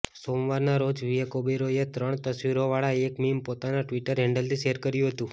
સોમવારના રોજ વિવેક ઓબેરોય એ ત્રણ તસવીરોવાળા એક મીમ પોતાના ટ્વિટર હેન્ડલથી શેર કર્યું હતું